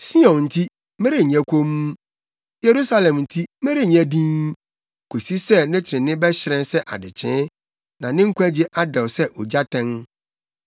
Sion nti, merenyɛ komm, Yerusalem nti, merenyɛ dinn, kosi sɛ ne trenee bɛhyerɛn sɛ adekyee, na ne nkwagye adɛw sɛ ogyatɛn.